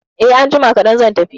Eh, anjima kadan zan tafi